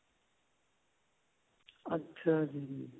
ਅੱਛਾ ਜੀ